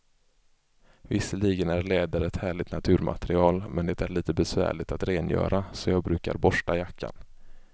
Visserligen är läder ett härligt naturmaterial, men det är lite besvärligt att rengöra, så jag brukar borsta jackan.